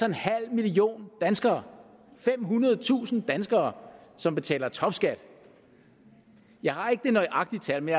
en halv million danskere femhundredetusind danskere som betaler topskat jeg har ikke det nøjagtige tal men